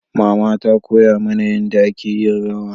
mama ta koya mana yanda a ke yin rawa